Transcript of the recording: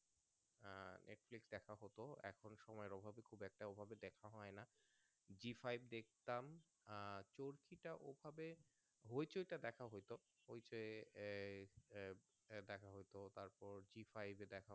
G-five দেখতাম আহ চড়কিটা ওই ভাবে hoichoi টা দেখা হতো ওই সে আহ দেখা হতো তার পর G-five এ দেখা হতো